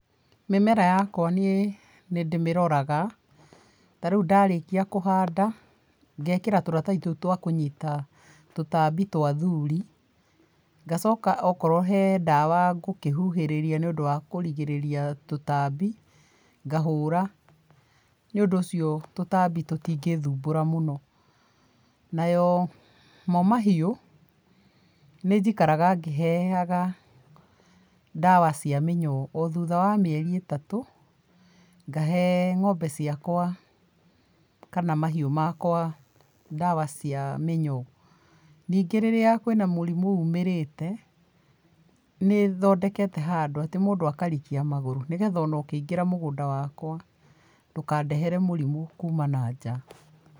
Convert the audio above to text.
Mĩmera yakwa niĩ nĩndĩmĩroraga, tarĩu ndarĩkia kũhanda, ngekĩra tũratathi tũu twa kũnyita tũtambi twa athuri, ngacoka okorwo he ndawa ngũkĩhuhĩrĩria nĩũndũ wa kũrigĩrĩria tũtambi ngahũra. Nĩũndũ ũcio tũtambi tutingĩthumbura mũno. Nayo mo mahiũ nĩnjikaraga ngĩheaga ndawa cia mĩnyoo o thutha wa mĩeri ĩtatũ, ngahe ngombe ciakwa kana mahiũ makwa ndawa cia mĩnyoo. Ningĩ rĩrĩa kwĩna mũrimũ umĩrĩte, nĩ thondekete handũ atĩ mũndũ akarikia magũrũ nĩgetha ona ũkĩingĩra mũgũnda wakwa ndũkandehere mũrimũ kuma nanja.